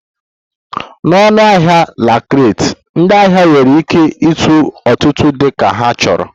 Na ọnụahịa la carte, ndị ahịa nwere ike ịtụ ọtụtụ dị ka ha chọrọ